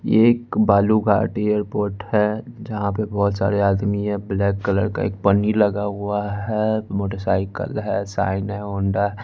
ये एक बालू का अटी एयरपोर्ट है जहां पे बहोत सारे आदमी हैं ब्लैक कलर का एक पन्नी लगा हुआ हैं मोटरसाइकल है शाइन है होंडा ।